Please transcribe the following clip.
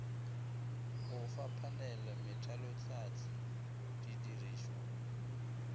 o fa phanele methalohlahli didirišwa